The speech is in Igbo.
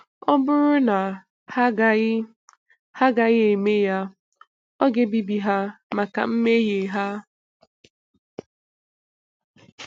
Ọ bụrụ na ha agaghị ha agaghị eme ya, Ọ ga-ebibi ha maka mmehie ha.